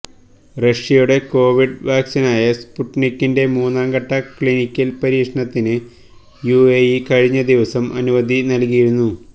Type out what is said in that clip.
റഷ്യയുടെ കോവിഡ് വാക്സീനായ സ്പുട്നിക്കിന്റെ മൂന്നാം ഘട്ട ക്ലിനിക്കൽ പരീക്ഷണത്തിന് യുഎഇ കഴിഞ്ഞ ദിവസം അനുമതി നൽകിയിരുന്നു